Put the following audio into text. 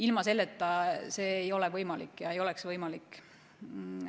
Ilma sellise käitumiseta see ei oleks võimalik.